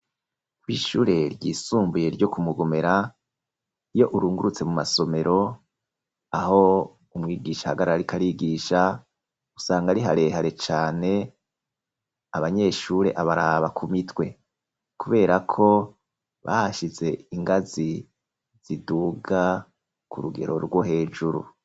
Kw'ishure ryisumbuye, ryo ku Mugomera, iyo urungurutse, mu masomero, aho umwigisha ahagarara, ariko arigisha, usanga ari harehare cane, abanyeshure abaraba ku mitwe; kubera ko, bahashize ingazi ziduga, ku rugero rwo hejuru.